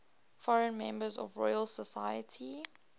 foreign members of the royal society